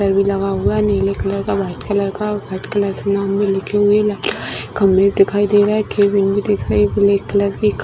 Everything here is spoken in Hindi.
र भी लगा हुआ है नीले कलर का वाइट कलर का वाइट कलर से नाम भी लिखे हुए हैं खंभे दिखाई दे रहा है दिखाई ब्लैक कलर की --